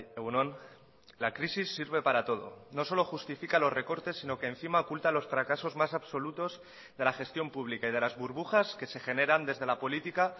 egun on la crisis sirve para todo no solo justifica los recortes sino que encima oculta los fracasos más absolutos de la gestión pública y de las burbujas que se generan desde la política